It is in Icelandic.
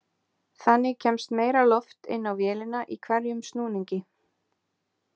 Þannig kemst meira loft inn á vélina í hverjum snúningi.